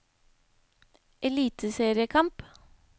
eliteseriekamp